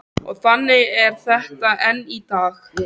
Og þannig er þetta enn í dag.